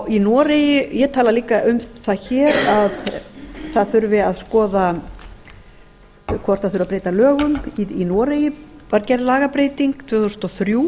að slíku ég tala líka um það hér að það þurfi að skoða hvort það þurfi að breyta lögum í noregi var gerð lagabreyting tvö þúsund og þrjú